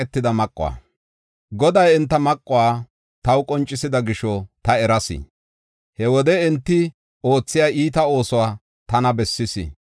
Goday enta maquwa taw qoncisida gisho ta eras. He wode enti oothiya iita oosuwa tana bessis.